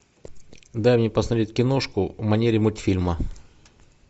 дай мне посмотреть киношку в манере мультфильма